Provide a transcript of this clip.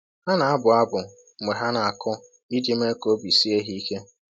Ha na-abụ abụ mgbe ha na-akụ iji mee ka obi sie ha ike.